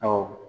Awɔ